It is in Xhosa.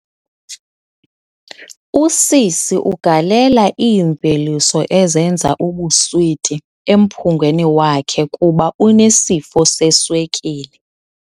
Usisi ugalela iimveliso ezenza ubuswiti emphungweni wakhe kuba unesifo seswekile.